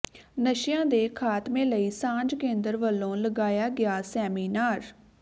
ਨਸ਼ਿਆਂ ਦੇ ਖਾਤਮੇ ਲਈ ਸਾਂਝ ਕੇਂਦਰ ਵੱਲੋਂ ਲਗਾਇਆ ਗਿਆ ਸੈਮੀਨਾਰ